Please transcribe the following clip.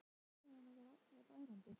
Suðið í höfðinu á mér varð ærandi.